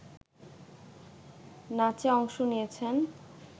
নাচে অংশ নিয়েছেন